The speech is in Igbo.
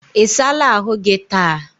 Ị sala ahụ gị taa?